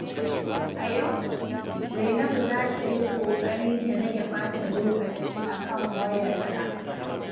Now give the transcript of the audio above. A yau, Zainabu za ta yi ƙoƙari ta rage ɓata lokaci akan wayarta.